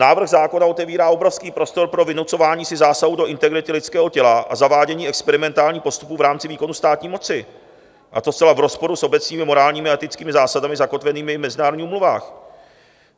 Návrh zákona otevírá obrovský prostor pro vynucování si zásahu do integrity lidského těla a zavádění experimentálních postupů v rámci výkonu státní moci, a to zcela v rozporu s obecnými, morálními a etickými zásadami zakotvenými v mezinárodních úmluvách.